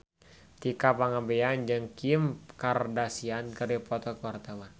Tika Pangabean jeung Kim Kardashian keur dipoto ku wartawan